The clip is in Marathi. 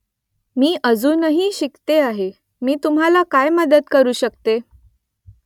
मी अजूनही शिकते आहे . मी तुम्हाला काय मदत करू शकते ?